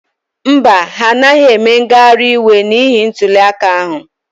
Mba, ha anaghị eme ngagharị iwe n'ihi ntuliaka ahụ.